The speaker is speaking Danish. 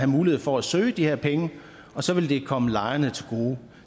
mulighed for at søge de her penge og så ville de komme lejerne til gode